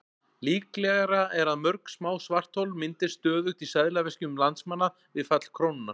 Líklegra er að mörg smá svarthol myndist stöðugt í seðlaveskjum landsmanna við fall krónunnar.